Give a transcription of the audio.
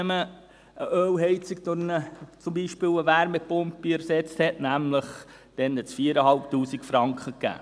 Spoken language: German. Wenn man eine Ölheizung zum Beispiel durch eine Wärmepumpe ersetzte, gab es nämlich 4500 Franken.